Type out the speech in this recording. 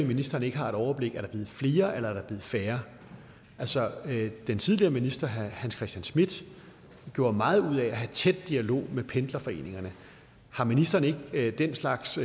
ministeren ikke har et overblik er blevet flere eller om færre altså den tidligere minister herre hans christian schmidt gjorde meget ud af at have en tæt dialog med pendlerforeningerne har ministeren ikke den slags